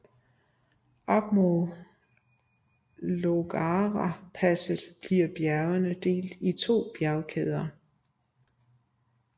Op mod Llogarapasset bliver bjergene opdelt i to bjergkæder